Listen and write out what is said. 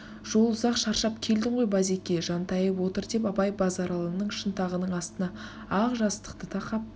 жол ұзақ шаршап келдің ғой базеке жантайып отыр деп абай базаралының шынтағының астына ақ жастықты тақап